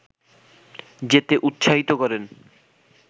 যেতে উৎসাহিত করেন